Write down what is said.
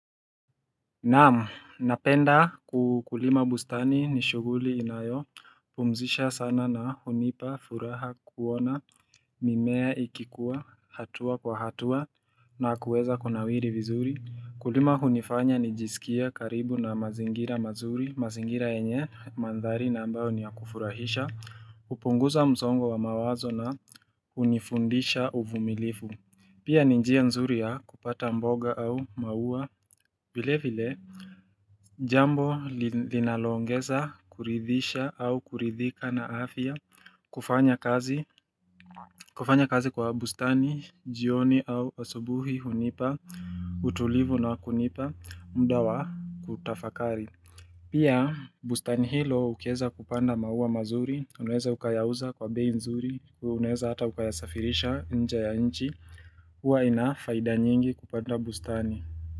Naam, napenda kukulima bustani ni shughuli inayo Pumzisha sana na hunipa, furaha, kuona, mimea ikikua, hatua kwa hatua na kuweza kuna wiri vizuri Kulima hunifanya ni jisikia karibu na mazingira mazuri, mazingira yenye, mandhari na ambayo ni ya kufurahisha upunguza mzongo wa mawazo na hunifundisha uvumilifu Pia ninjia nzuri ya kupata mboga au maua, vile vile Jambo linaloongeza kuridhisha au kuridhika na afya kufanya kazi kufanya kazi kwa bustani, jioni au asubuhi hunipa, utulivu na wakunipa, mda wa kutafakari Pia bustani hilo ukeza kupanda maua mazuri, unaweze ukayauza kwa bei nzuri, unaweze hata ukayasafirisha nje ya nchi, huwa inafaida nyingi kupanda bustani.